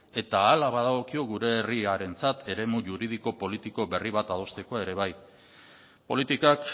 eta hala badagokio gure herriarentzat eremu juridiko politiko berri bat adosteko ere bai politikak